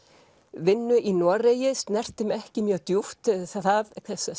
vinnu í Noregi snerti mig ekki mjög djúpt það